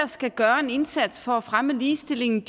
skal gøre en indsats for at fremme ligestillingen